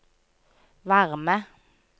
varme